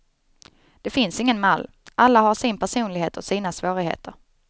Det finns ingen mall, alla har sin personlighet och sina svårigheter.